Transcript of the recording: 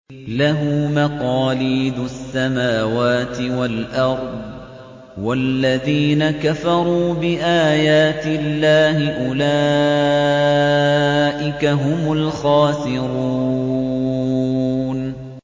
لَّهُ مَقَالِيدُ السَّمَاوَاتِ وَالْأَرْضِ ۗ وَالَّذِينَ كَفَرُوا بِآيَاتِ اللَّهِ أُولَٰئِكَ هُمُ الْخَاسِرُونَ